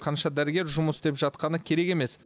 қанша дәрігер жұмыс істеп жатқаны керек емес